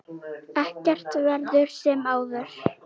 Ekkert verður sem áður.